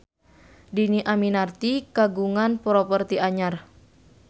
Dhini Aminarti kagungan properti anyar